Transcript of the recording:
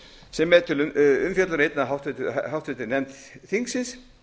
sem er til umfjöllunar í einni háttvirtur nefnd þingsins